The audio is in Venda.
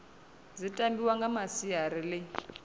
dzi tambiwa nga masiari ḽi